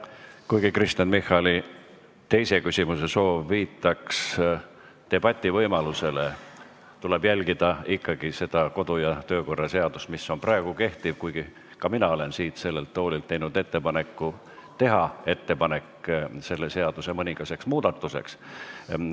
Kuigi Kristen Michali teise küsimuse soov viitaks debati võimalusele, tuleb jälgida ikkagi seda kodu- ja töökorra seadust, mis on praegu kehtiv, kuigi ka mina olen siit sellelt toolilt teinud ettepaneku teha sellesse mõningaid muudatusi.